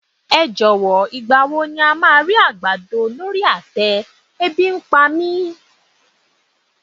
Ẹ jọ̀wọ́, ìgbà wo ni a máa rí àgbàdo lórí àtẹ, e bi ń pa mí.